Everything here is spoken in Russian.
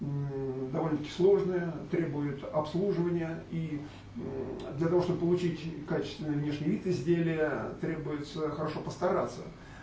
довольно таки сложная требует обслуживания и для того чтобы получить качественный внешний вид изделия требуется хорошо постараться